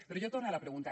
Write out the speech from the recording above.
però jo torne a la pregunta